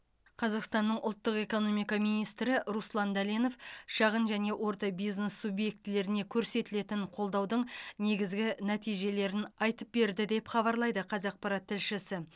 қазақстанның ұлттық экономика министрі руслан дәленов шағын және орта бизнес субъектілеріне көрсетілетін қолдаудың негізгі нәтижелерін айтып берді деп хабарлайды қазақпарат тілшісі